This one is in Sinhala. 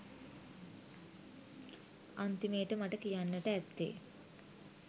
අන්තිමේට මට කියන්නට ඇත්තේ